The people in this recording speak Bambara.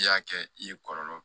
I y'a kɛ i ye kɔlɔlɔ